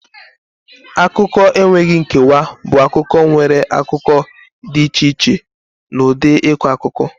Akụkọ enweghị nkewa bụ akụkọ nwere akụkọ dị iche iche na ụdị ịkọ akụkọ.